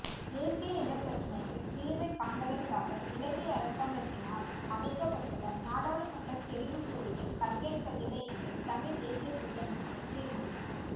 தேசிய இனப்பிரச்சினைக்கு தீர்வைக் காண்பதற்காக இலங்கை அரசாங்கத்தினால் அமைக்கப்பட்டுள்ள நாடாளுமன்ற தெரிவுக்குழுவில் பங்கேற்பதில்லை என்று தமிழ்த் தேசியக் கூட்டமைப்பு தீர்மானம்